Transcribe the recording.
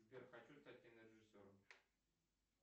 сбер хочу стать кинорежиссером